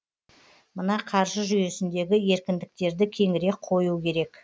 мына қаржы жүйесіндегі еркіндіктерді кеңірек қою керек